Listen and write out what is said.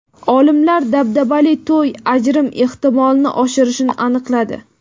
Olimlar dabdabali to‘y ajrim ehtimolini oshirishini aniqladi.